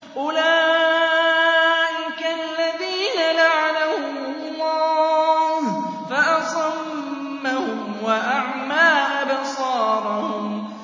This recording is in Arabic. أُولَٰئِكَ الَّذِينَ لَعَنَهُمُ اللَّهُ فَأَصَمَّهُمْ وَأَعْمَىٰ أَبْصَارَهُمْ